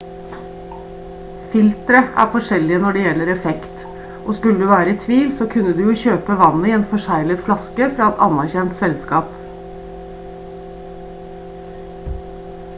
filtre er forskjellige når det gjelder effekt og skulle du være i tvil så kan du jo kjøpe vannet i en forseglet flaske fra et anerkjent selskap